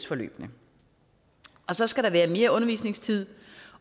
forløbene og så skal der være mere undervisningstid